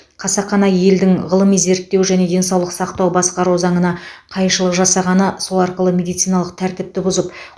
қасақана елдің ғылыми зерттеу және денсаулық сақтауды басқару заңына қайшылық жасағаны сол арқылы медициналық тәртіпті бұзып